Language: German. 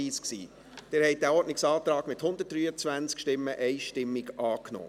Sie haben diesen Ordnungsantrag, mit 123 Stimmen einstimmig, angenommen.